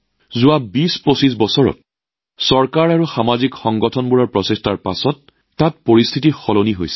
যোৱা ২০২৫ বছৰৰ ভিতৰত চৰকাৰ আৰু সামাজিক সংগঠনৰ প্ৰচেষ্টাৰ পিছত তাত থকা পৰিস্থিতি নিশ্চিতভাৱে সলনি হৈছে